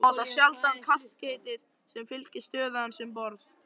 Hann notar sjaldan kaskeitið sem fylgir stöðu hans um borð.